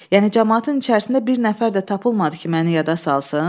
Yəni camaatın içərisində bir nəfər də tapılmadı ki, məni yada salsın?